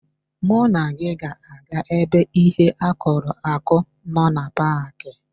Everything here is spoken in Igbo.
Mụ na gị ga-aga ebe ihe akụrụ akụ nọ na paaki.